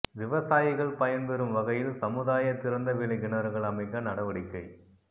விவசாயிகள் பயன்பெறும் வகையில் சமுதாய திறந்த வெளிக் கிணறுகள் அமைக்க நடவடிக்கை